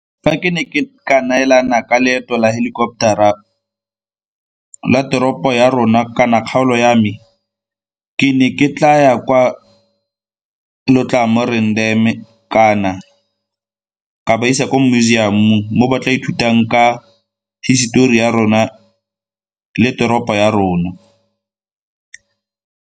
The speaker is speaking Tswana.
Fa ke ne ke ka neelana ka leeto la helicopter-ra la teropo ya rona kana kgaolo ya me, ke ne ke tla ya kwa Letlamoreng Dam kana ka ba isa ko museum-ong mo ba tla ithutang ka hisetori ya rona le toropo ya rona.